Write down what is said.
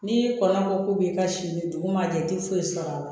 N'i kɔnna ko k'u b'i ka si ɲini dugu ma jɛ i tɛ foyi sɔrɔ a la